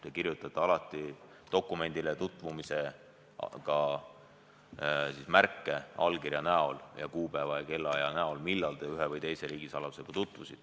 Te kirjutate dokumendiga tutvumisel alati märke allkirja, kuupäeva ja kellaaja näol, millal te ühe või teise riigisaladusega tutvusite.